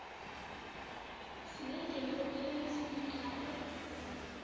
sinendima okufanele siyidlale